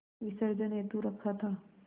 विसर्जन हेतु रखा था